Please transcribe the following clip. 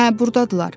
Hə, burdadırlar.